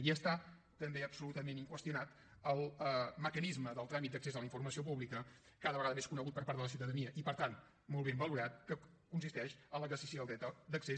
i està també absolutament inqüestionat el mecanisme del tràmit d’accés a la informació pública cada vegada més conegut per part de la ciutadania i per tant molt ben valorat que consisteix en l’exercici del dret d’accés